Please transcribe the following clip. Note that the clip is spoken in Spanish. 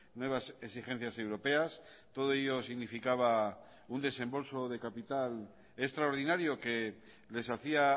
nuevas exigencias europeas todo ello significaba un desembolso de capital extraordinario que les hacía